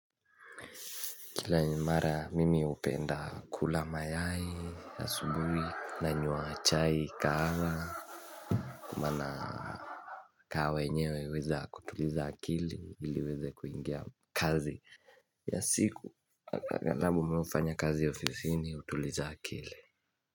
Kila imara mimi upenda kula mayai asubuhi nanywa chai kahawa kwa mana kahawa enyewe uweza kutuliza akili ili iweze kuingia kazi ya siku navyo mimi hufanya kazi ya ofisini utuliza akili.